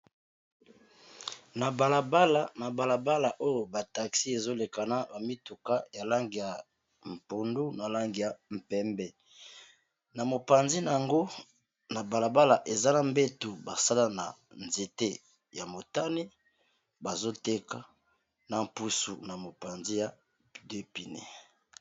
Na balabala oyo ba taxi ezolekana ba mituka ya langi ya pondu na langi ya pembe na mopanzi nango na balabala eza na mbetu basala na nzete ya motane bazoteka na mpusu na mopanzi ya deux pneu.